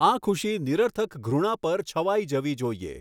આ ખુશી નિરર્થક ઘૃણા પર છવાઈ જવી જોઈએ.